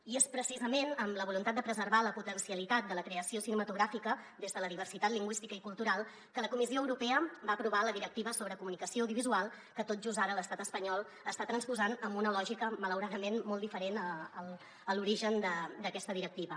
i és pre·cisament amb la voluntat de preservar la potencialitat de la creació cinematogràfi·ca des de la diversitat lingüística i cultural que la comissió europea va aprovar la directiva sobre comunicació audiovisual que tot just ara l’estat espanyol està trans·posant amb una lògica malauradament molt diferent a l’origen d’aquesta directiva